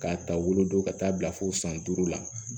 K'a ta wolo don ka taa bila fo san duuru la